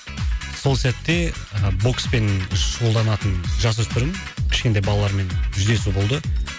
сол сәтте бокспен шұғылданатын жасөспірім кішкентай балалармен жүздесу болды